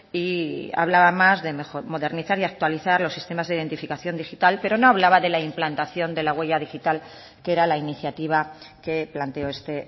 y hablaba más de modernizar y actualizar los sistemas de identificación digital pero no hablaba de la implantación de la huella digital que era la iniciativa que planteo este